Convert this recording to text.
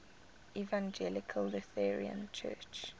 evangelical lutheran church